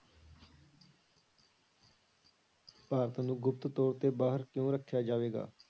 ਭਾਰਤ ਨੂੰ ਗੁਪਤ ਤੌਰ ਤੇ ਬਾਹਰ ਕਿਉਂ ਰੱਖਿਆ ਜਾਵੇਗਾ?